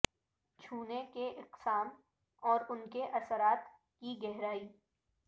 چھونے کی اقسام اور ان کے اثرات کی گہرائی